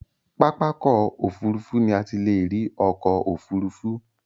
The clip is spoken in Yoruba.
Pápákọ̀ òfurufú ni a ti lè rí ọkọ̀ òfurufú.